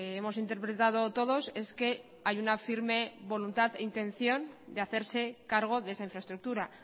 hemos interpretado todos es que hay una firme voluntad de intención de hacerse cargo de esa infraestructura